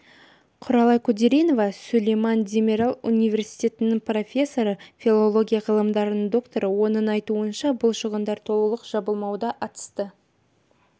құралай күдеринова сүлейман демирел университетінің профессоры филология ғылымдарының докторы оның айтуынша бұл шығындар толық жабылмауда атысты